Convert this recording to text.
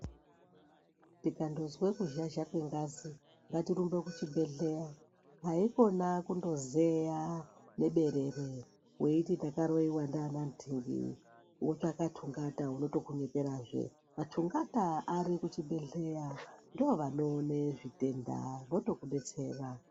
Tikandozwe kuzhazha kwengazi ngatirumbe kuchibhedhleya, haikona kundozeya neberere. Veiti takaroiva ndiana ngingi votsvaka tungata unotokunyeperazve. Tungata ari kuzvibhedhleya ndivo anoone zvitenda votokubetsera.